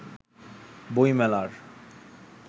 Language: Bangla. বই মেলার